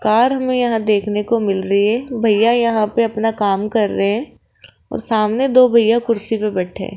Car हमें यहां देखने को मिल रही है भैया यहां पे अपना काम कर रहे हैं और सामने दो भैया कुर्सी पे बैठे हैं।